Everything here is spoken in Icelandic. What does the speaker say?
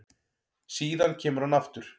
Síðan kemur hann aftur